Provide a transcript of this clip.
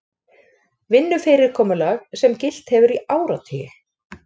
Vinnufyrirkomulag sem gilt hefur í áratugi